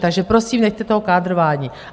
Takže prosím, nechte toho kádrování!